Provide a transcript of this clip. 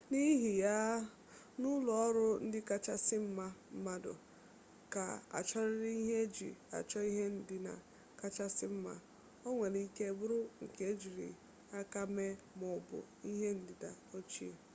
n'ihi ya n'ụlọ ọrụ ndị kachasị mma mmadụ ga-achọrịrị ihe eji achọ ihe ndina kachasi nma ọ nwere ike bụrụ nke ejiri aka mee ma ọ bụ ihe ndina ochie